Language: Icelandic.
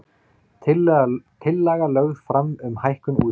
Tillaga lögð fram um hækkun útsvars